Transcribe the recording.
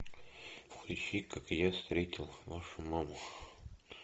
включи как я встретил вашу маму